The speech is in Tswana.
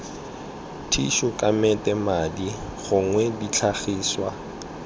thišu kamete madi gongwe ditlhagiswa